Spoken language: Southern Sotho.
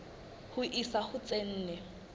ho isa ho tse nne